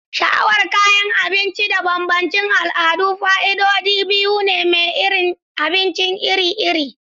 Sha'awar kayan abinci da bambancin al'adu fa'idodi biyu ne na cin abinci iri-iri.